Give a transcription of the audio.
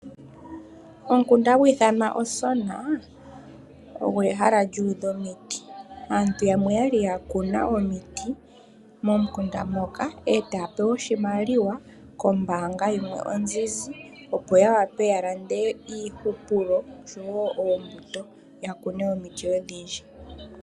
Omukunda hagu ithwana Osona ogo ehala lyuudha omiti. Aantu yamwe oya li ya kuna omiti momukunda moka, e taya pewa oshimaliwa kombaanga yoNedbank ya wape ya lande iihupulo osho woo oombuto ya kune omiti odhindji.